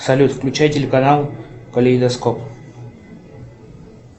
салют включай телеканал калейдоскоп